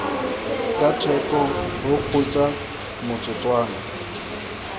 ka theko o kgutsa motsotswana